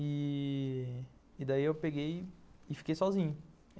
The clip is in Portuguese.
E daí eu peguei e fiquei sozinho.